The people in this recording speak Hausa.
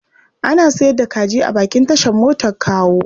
Ana sayar da kaji a bakin tashar motar Kawo.